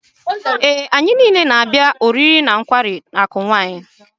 Ee, anyị niile na-abịa maka oriri na nkwari akụ Wine.